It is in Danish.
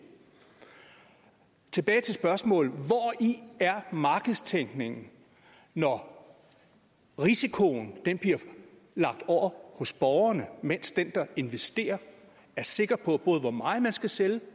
tilbage til spørgsmålet hvori er markedstænkningen når risikoen bliver lagt over hos borgerne mens den der investerer er sikker på både hvor meget man skal sælge